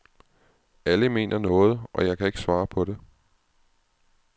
Alle mener noget, og jeg kan ikke svare på det.